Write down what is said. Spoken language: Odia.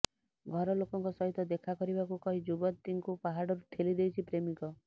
ଘର ଲୋକଙ୍କ ସହିତ ଦେଖା କରିବାକୁ କହି ଯୁବତୀଙ୍କୁ ପାହାଡରୁ ଠେଲି ଦେଇଛି ପ୍ରେମିକ